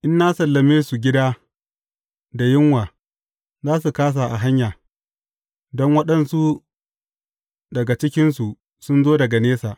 In na sallame su gida da yunwa, za su kāsa a hanya, don waɗansu daga cikinsu sun zo daga nesa.